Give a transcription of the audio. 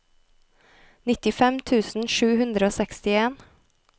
nittifem tusen sju hundre og sekstien